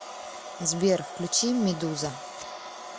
сбер включи медуза